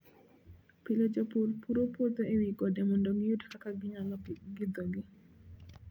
Pile jopur puro puothe e wi gode mondo giyud kaka ginyalo pidhogi.